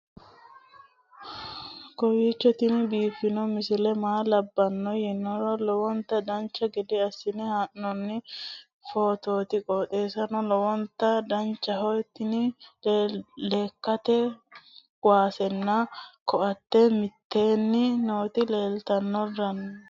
kowiicho tini biiffanno misile maa labbanno yiniro lowonta dancha gede assine haa'noonni foototi qoxeessuno lowonta danachaho. tini lekkate kuwasenna koate mitteenni nooti leelrtanno